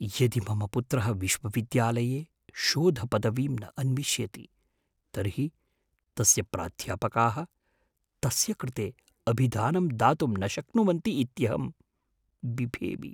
यदि मम पुत्रः विश्वविद्यालये शोधपदवीं न अन्विष्यति तर्हि तस्य प्राध्यापकाः तस्य कृते अभिधानं दातुं न शक्नुवन्ति इत्यहं बिभेमि।